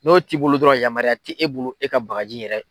N'o t'i bolo dɔrɔn yamaruya ti e bolo e ka bagaji yɛrɛ